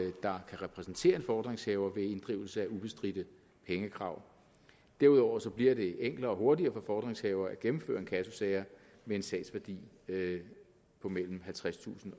der kan repræsentere en fordringshaver ved inddrivelse af ubestridte pengekrav derudover bliver det enklere og hurtigere for fordringshaver at gennemføre inkassosager med en sagsværdi på mellem halvtredstusind